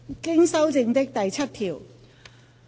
經修正的第7條。